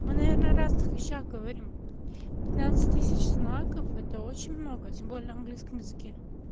мы наверное о разных вещах говорим пятнадцать тысяч знаков это очень много тем более в английском языке